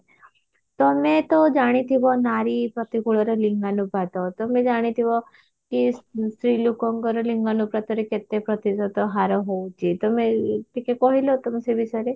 ତମେ ତ ଜାଣିଥିବ ନାରୀ ପ୍ରତିକୂଳରେ ଲିଙ୍ଗାନୁପାତ ତମେ ଜାଣିଥିବ କି ସ୍ତ୍ରୀ ଲୋକଙ୍କର ଲିଙ୍ଗାନୁପାତରେ କେତେ ପ୍ରତିଶତ ହାର ହଉଛି ତମେ ଟିକେ କହିଲ ତ ସେ ବିଷୟରେ